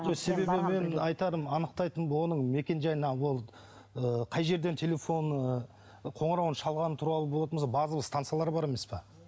жоқ себебі мен анықтайтын мекен жайына ол ы қай жерден телефон ы қоңырауын шалғаны туралы болатын болса базовые станциялар бар емес пе